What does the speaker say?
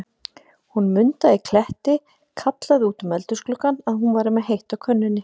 Hún Munda í Kletti kallaði út um eldhúsgluggann, að hún væri með heitt á könnunni.